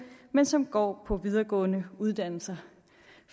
men som går på videregående uddannelser